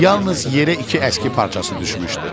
Yalnız yerə iki əski parçası düşmüşdü.